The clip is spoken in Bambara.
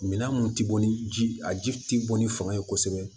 Minan mun ti bɔ ni ji a ji bɔ ni fanga ye kosɛbɛ